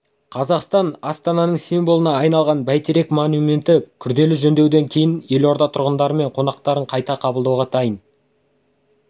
қазақстан астанасының символына айналған бәйтерек монументі күрделі жөндеуден кейін елорда тұрғындары мен қонақтарын қайта қабылдауға дайын